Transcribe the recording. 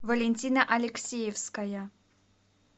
валентина алексеевская